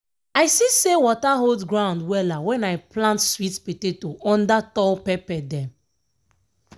i see say water hold ground wella when i plant sweet potato under tall pepper dem.